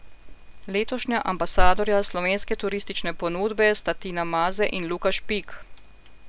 Letošnja Ambasadorja Slovenskega turistične ponudbe sta Tina Maze in Luka Špik.